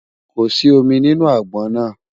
kò sí omí nínú agbọn nà